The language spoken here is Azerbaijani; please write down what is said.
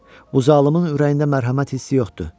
Bu zalımın ürəyində mərhəmət hissi yoxdur.